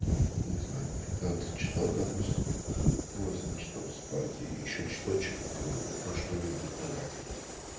там не знаю пятнадцать часов допустим восемь часов спать и ещё часочек там ну на что-нибудь тратить